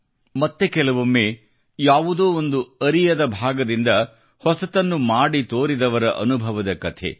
ಮತ್ತೆ ಕೆಲವೊಮ್ಮೆ ಯಾವುದೋ ಒಂದು ಅರಿಯದ ಭಾಗದಿಂದ ಹೊಸತನ್ನು ಮಾಡಿ ತೋರಿದವರ ಅನುಭವದ ಕಥೆ